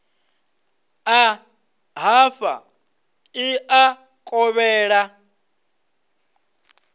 ḓa hafha ḽi a kovhela